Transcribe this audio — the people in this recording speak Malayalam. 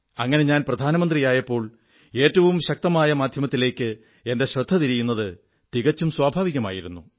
അങ്ങനെ ഞാൻ പ്രധാനമന്ത്രിയായപ്പോൾ ഏറ്റവും ശക്തമായ മാധ്യമത്തിലേക്ക് എന്റെ ശ്രദ്ധ തിരിയുന്നത് തികച്ചും സ്വാഭാവികമായിരുന്നു